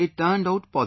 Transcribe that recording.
It turned out positive